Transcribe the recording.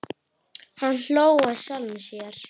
Hann hló að sjálfum sér.